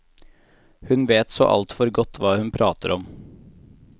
Hun vet så alt for godt hva hun prater om.